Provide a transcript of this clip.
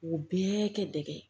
U bɛɛ kɛ dege